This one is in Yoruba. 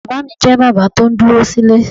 Bàbá mi jẹ́ bàbá tó ń dúró sílè.